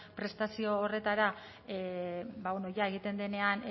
prestazio horretara jada egiten denean